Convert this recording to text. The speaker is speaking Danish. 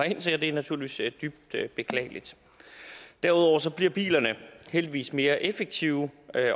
ind til og det er naturligvis dybt beklageligt derudover bliver bilerne heldigvis mere effektive